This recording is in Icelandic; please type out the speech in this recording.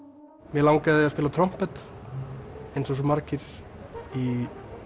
mig langaði að spila á trompet eins og svo margir í